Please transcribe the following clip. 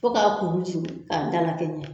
Fo k'a kuru jingin a da la kɛ ɲɛ.